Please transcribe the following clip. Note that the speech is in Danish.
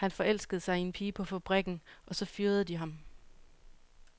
Han forelskede sig i en pige på fabrikken, og så fyrede de ham.